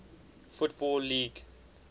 football league